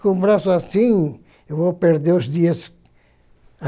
Com o braço assim, eu vou perder os dias.